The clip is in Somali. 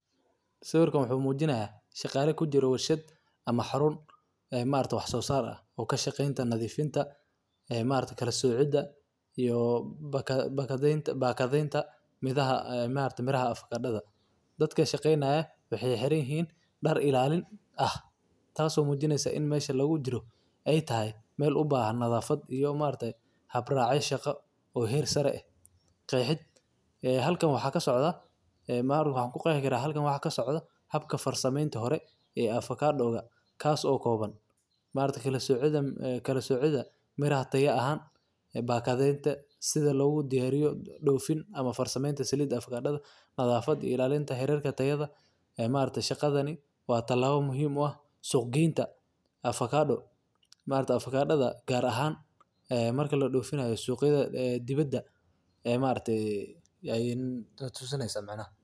Sawirkab wuxuu mujinaya shaqala kujiro warshaad ama xarun wax sosar ah oo ma aragta kashaqenta nadhifinta ee ma aragte kalaaocida iyo bakadenta miraha afakadadha dadka shaqeynaya waxee xiran yihin dar ilalin ah tas oo mujineysa in mesha lagu jira etahay meel ubahan nadhafaad iyo habrac shaqo oo her saro eh qeexid haloan waxaa kasocda ee maxan ku qeexi karaa habka farsamenta hore ee afakadoga kas oo kowan maargte kala socidha miraha taya ahan ee bakadenta sitha logu diro ereyo dofin am farsamenta salida afakadadha badhaafada ilalinta herka tayo leh ee ma aragti shaqadhani waa talabo muhiim u ah suq genta ma argta afakadadha gar ahan marka ladifinayo suq yada diwada ee tusineysa micnah.